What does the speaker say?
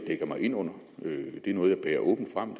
dækker mig ind under det er noget jeg bærer åbent frem